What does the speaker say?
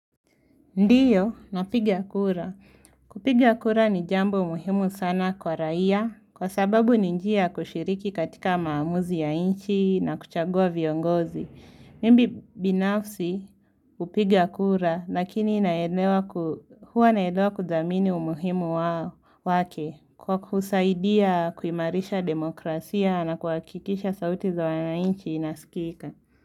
Ndio, napiga kura. Kupiga kura ni jambo muhimu sana kwa raia, kwa sababu ni njia ya kushiriki katika maamuzi ya nchi na kuchagua viongozi. Mimi binafsi hupiga kura, lakini huwa naelewa kuthamini umuhimu wake kwa kusaidia kuimarisha demokrasia na kuhakikisha sauti za wananchi inasikika.